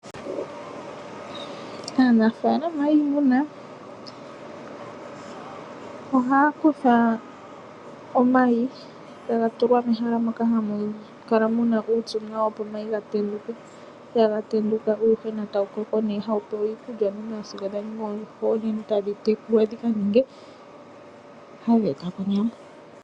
Aanafalama yiimuna ohaya kutha omayi etaga tulwa mehala moka hamu kala muna uupyu nawa opo omayi ga tenduke, sha ga tenduka uuyuhwena otawu koko ne moku pewa iikulya sigo wa ningi oondjuhwa onene etadhi tekulwa dhika ninge hadhi eta po onyama.